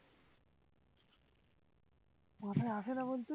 মাথায় আসে না বলতে